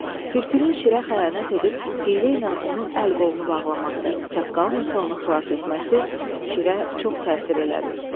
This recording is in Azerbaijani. Tülkünün şirə xəyanət edib hiylə ilə onun əl-qolunu bağlaması, çaqqalın isə onu xilas etməsi şirə çox təsir elədi.